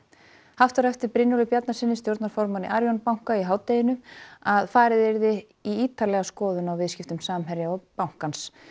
haft var eftir Brynjólfi Bjarnasyni stjórnarformanni Arion banka í hádeginu að farið yrði í ítarlega skoðun á viðskiptum Samherja og bankans